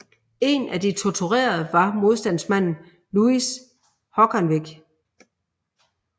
En af de torturerede var modstandsmanden Louis Hogganvik